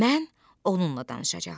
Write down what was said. Mən onunla danışacağam.